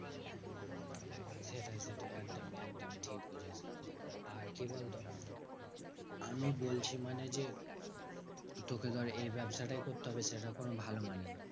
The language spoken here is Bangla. সেটাই সেটাই একদমই একদমই ঠিক বুঝেছিস। আর কি বলতো? আমি বলছি মানে যে, তোকে ধর এই ব্যাবসাটাই করতে হবে সেটা কোনো ভালো মানে না।